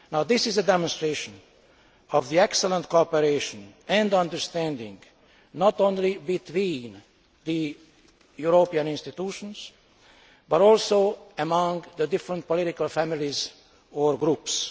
This is a demonstration of the excellent cooperation and understanding not only between the European institutions, but also among the different political families or groups.